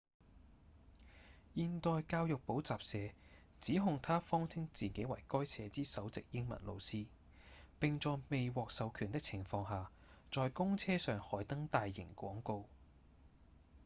現代教育補習社指控他謊稱自己為該社之首席英文老師並在未獲授權的情況下在公車上刊登大型廣告